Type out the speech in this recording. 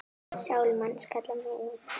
Sál manns kalla megum.